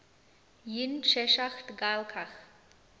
yn cheshaght ghailckagh